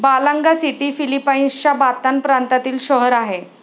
Balanga city फिलिपाईन्सचा Bataan प्रांतातील शहर आहे.